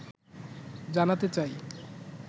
জানাতে চাই